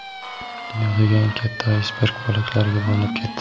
Dunyodagi eng katta aysberg bo‘laklarga bo‘linib ketdi.